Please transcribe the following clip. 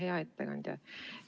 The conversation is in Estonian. Hea ettekandja!